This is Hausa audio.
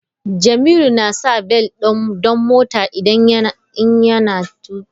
Jamilu na sa bel don mota in yana tuƙa mota.